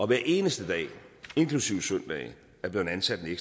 hver eneste dag inklusive søndage er blevet ansat en